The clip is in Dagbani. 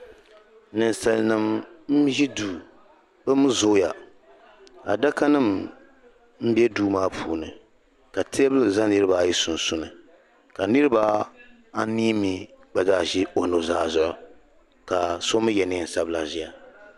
Ninsalinima nzi duu bɛ mii zooya adaka nim bɛ duu maa puuni ka tabili za niriba ayi sunsuuni ka niriba anii mii gba zaa nzi o nu zaa zuɣu ka so mii yɛ niɛn sabila ziya.